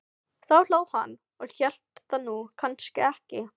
Þá hló hann og hélt það nú kannski ekki.